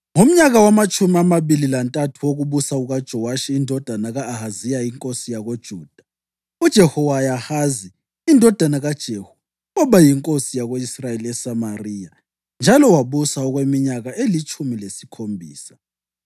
Ngomnyaka wamatshumi amabili lantathu wokubusa kukaJowashi indodana ka-Ahaziya inkosi yakoJuda, uJehowahazi indodana kaJehu waba yinkosi yako-Israyeli eSamariya njalo wabusa okweminyaka elitshumi lesikhombisa.